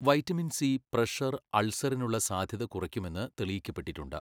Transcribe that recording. Vitamin C pressure അൾസറിനുള്ള സാധ്യത കുറയ്ക്കുമെന്ന് തെളിയിക്കപ്പെട്ടിട്ടുണ്ട്.